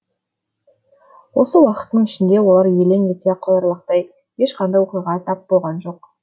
осы уақыттың ішінде олар елең ете қоярлықтай ешқандай оқиға тап болған жоқ